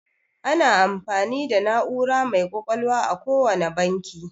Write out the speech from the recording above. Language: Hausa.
Ana amfani da na'ura mai ƙwaƙwalwa a kowane banki.